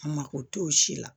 A mako t'o si la